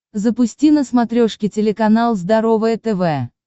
запусти на смотрешке телеканал здоровое тв